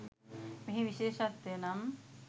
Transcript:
මෙහි විශේෂත්වය නම්